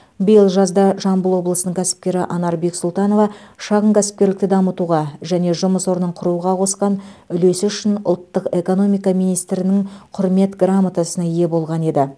биыл жазда жамбыл облысының кәсіпкері анар бексұлтанова шағын кәсіпкерлікті дамытуға және жұмыс орнын құруға қосқан үлесі үшін ұлттық экономика министрінің құрмет грамотасына ие болған еді